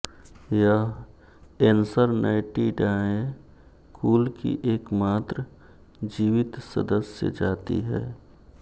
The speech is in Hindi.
यह ऐन्सरनैटिडाए कुल की एकमात्र जीवित सदस्य जाति है